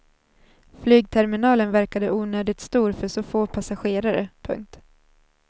Flygterminalen verkade onödigt stor för så få passagerare. punkt